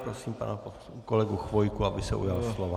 Prosím pana kolegu Chvojku, aby se ujal slova.